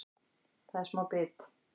Það er smá bit